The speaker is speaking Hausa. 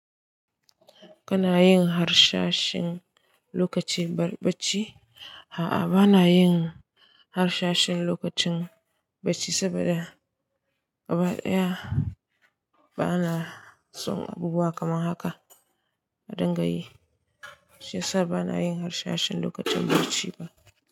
Kana yin harsashin lokacin bacci? A'a, bana yin harsashin lokacin bacci, saboda gaba ɗaya bana son abubuwa kamar haka a dangayi, shi ya sa bana yin harsashin lokacin bacci ba.